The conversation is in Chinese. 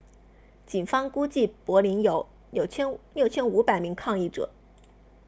警方估计柏林有 6,500 名抗议者